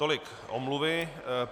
Tolik omluvy.